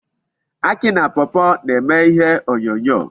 Akị na pawpaw na-eme ihe onyonyo.